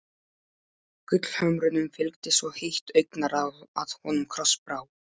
Gullhömrunum fylgdi svo heitt augnaráð að honum krossbrá.